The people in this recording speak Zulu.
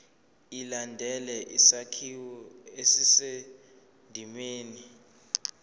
ilandele isakhiwo esisendimeni